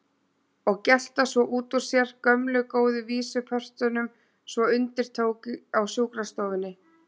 Og gelta svo út úr sér gömlu góðu vísupörtunum svo undir tók á sjúkrastofunni.